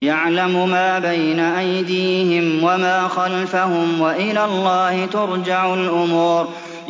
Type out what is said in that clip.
يَعْلَمُ مَا بَيْنَ أَيْدِيهِمْ وَمَا خَلْفَهُمْ ۗ وَإِلَى اللَّهِ تُرْجَعُ الْأُمُورُ